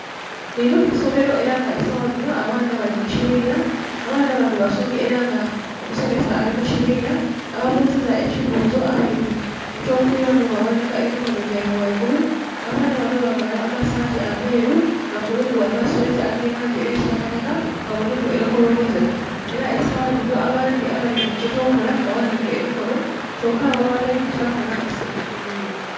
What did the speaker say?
Linho isomelo, era nga saghadhinho abaana bali mukibinha, abaana banho basomi era nga omusomesa ali mukibinha ababuziza ekibuzo abeidhi ekyo kwilamu baghanhika emikono gyebwe ghaigulu. Abaana banho bavala amasaati amelu nga kuliku amasweta ege langi eya kitaka taka nga mulimu enkoloboze era sagha dhinho bandhi abeidhi ekyo kola baghanhika emikono kyoka abo abateidhi kyakola basilikire.